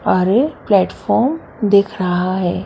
अरे प्लेटफार्म दिख रहा है।